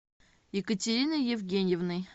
екатериной евгеньевной